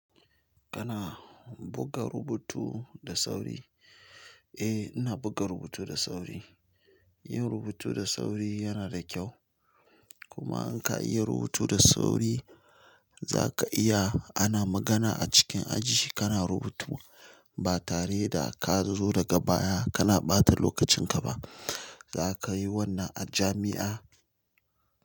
Kana buga rubutu da sauri? Eh, ina buga rubutu da sauri. Yin rubutu da sauri yana da kyau. Kuma in ka iya rubutu da sauri za ka iya ana magana a cikin aji kana rubutu ba tare da ka zo daga baya kana ɓata lokacin ka ba. Za ka yi wannan a jami'a?